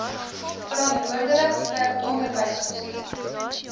verantwoordelik vir onderwysbestuur